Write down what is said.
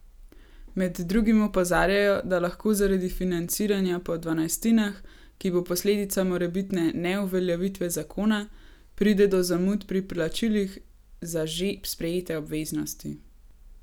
Med drugim opozarjajo, da lahko zaradi financiranja po dvanajstinah, ki bo posledica morebitne neuveljavitve zakona, pride do zamud pri plačilih za že sprejete obveznosti.